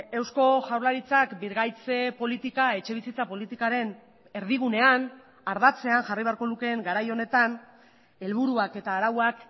eusko jaurlaritzak birgaitze politika etxebizitza politikaren erdigunean ardatzean jarri beharko lukeen garai honetan helburuak eta arauak